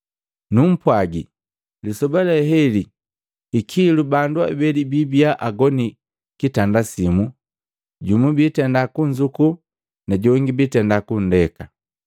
Numpwagi, lisoba leheli hikilu bandu abeli biibia agoni kitanda simu, jumu biitenda kunzuku najongi biitenda kundeka.